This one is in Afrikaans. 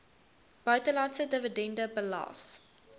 buitelandse dividende belas